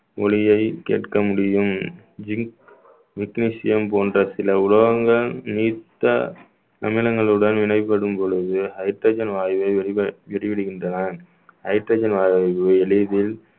ஒலியைக் கேட்க முடியும் zinc, magnesium போன்ற சில உலோகங்கள் நீத்த அமிலங்களுடன் இணைபடும் பொழுது hydrogen வாயு வெளிவிடுகின்றன hydrogen வாயு எளிதில்